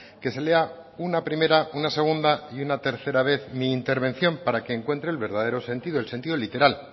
que se lea una primera una segunda y una tercera vez mi intervención para que encuentre el verdadero sentido el sentido literal